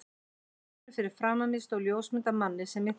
borðinu fyrir framan mig stóð ljósmynd af manni sem ég þekkti.